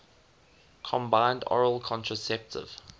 combined oral contraceptive